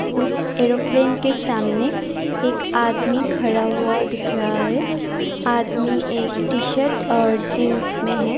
उस एरोप्लेन के सामने एक आदमी खड़ा हुआ दिख रहा है आदमी एक टी-शर्ट और जींस में है।